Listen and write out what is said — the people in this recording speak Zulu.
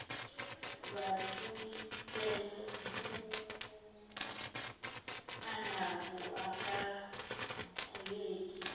wububele anabo akakuyeki